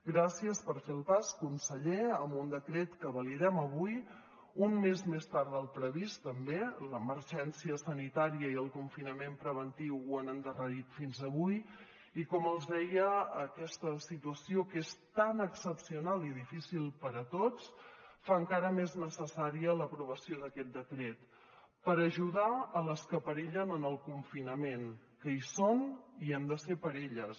gràcies per fer el pas conseller amb un decret que validem avui un mes més tard del previst també l’emergència sanitària i el confinament preventiu ho han l’endarrerit fins avui i com els deia aquesta situació que és tan excepcional i difícil per a tots fa encara més necessària l’aprovació d’aquest decret per ajudar a les que perillen en el confinament que hi són i hi hem de ser per elles